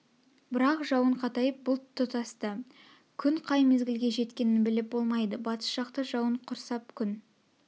бірақ жауын қатайып бұлт тұтасты күн қай мезглге жеткенін біліп болмайды батыс жақты жауын құрсап күн